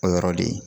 O yɔrɔ le ye